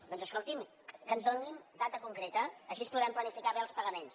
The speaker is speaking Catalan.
doncs escolti’m que ens donin data concreta així podrem planificar bé els pagaments